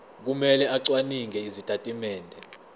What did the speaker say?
kumele acwaninge izitatimende